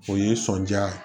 O ye sɔndiya ye